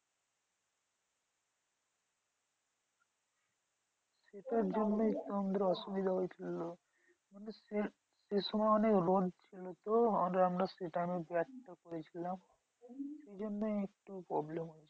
সেটার জন্য আমাদের অসুবিধা হয়েছিল। সেই সময় অনেক রোদ ছিল তো আমরা সেই time এ ব্যাট টা করেছিলাম সেই জন্যই একটু problem হয়েছে।